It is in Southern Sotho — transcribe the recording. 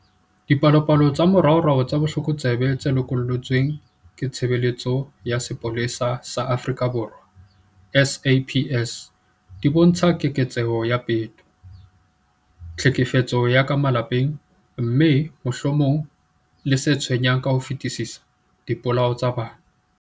Dipalopalo tsa moraorao tsa botlokotsebe tse lokollotsweng ke Tshebeletso ya Sepolesa sa Afrika Borwa, SAPS, di bontsha keketseho ya peto, tlhekefetso ya ka malapeng, mme, mohlomong le se tshwenyang ka ho fetisisa, dipolao tsa bana.